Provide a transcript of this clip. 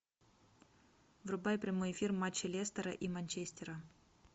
врубай прямой эфир матча лестера и манчестера